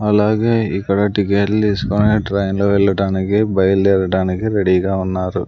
అలాగే ఇక్కడ టికెట్లు తీస్కొని ఆ ట్రైన్లో వెళ్లడానికి బయలుదేరడానికి రెడీగా ఉన్నారు.